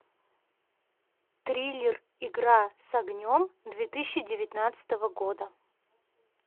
триллер игра с огнем две тысячи девятнадцатого года